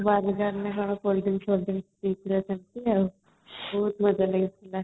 burger ନା କ'ଣ ବହୁତ ମଜା ଲାଗିଲା |